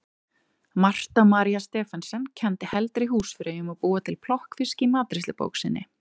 Marta María Stephensen kenndi heldri húsfreyjum að búa til plokkfisk í matreiðslubók sinni.